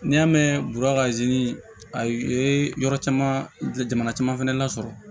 N'i y'a mɛn burɛti a ye yɔrɔ caman fɛnɛ lasɔrɔ